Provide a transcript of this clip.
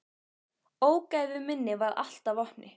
Ógæfu minni varð allt að vopni.